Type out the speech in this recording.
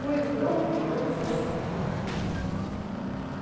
поезд дрогнул вагоны снова сцепили